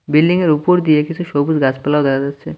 বিল্ডিংয়ের উপর দিয়ে কিছু সবুজ গাছপালাও দেখা যাচ্ছে।